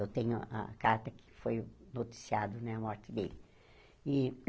Eu tenho a carta que foi noticiado né a morte dele.